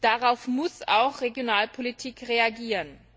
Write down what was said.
Darauf muss auch Regionalpolitik reagieren.